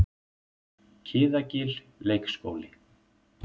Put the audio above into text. Kiðagil leikskóli